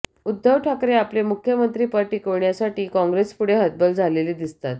उद्धव ठाकरे आपले मुख्यमंत्री पद टिकविण्यासाठी काँग्रेसपुढे हतबल झालेले दिसतात